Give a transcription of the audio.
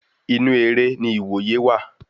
Inú eré ni iwoye wà